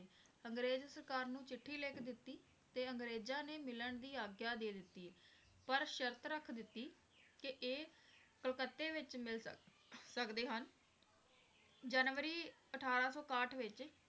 ਅੰਗਰੇਜ਼ ਸਰਕਾਰ ਨੂੰ ਚਿੱਠੀ ਲਿਖ ਦਿਤੀ ਤੇ ਅੰਗਰੇਜ਼ਾਂ ਨੇ ਮਿਲਣ ਦੀ ਆਗਿਆ ਦੇ ਦਿਤੀ ਪਰ ਸ਼ਰਤ ਰੱਖ ਦਿਤੀ ਕਿ ਇਹ ਕਲੱਕਤੇ ਵਿਚ ਮਿਲ ਸਕ~ ਸਕਦੇ ਹਨ ਜਨਵਰੀ ਅਠਾਰਾਂ ਸੌ ਇਕਾਹਠ ਵਿੱਚ